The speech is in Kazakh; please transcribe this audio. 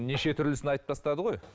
неше түрлісін айтып тастады ғой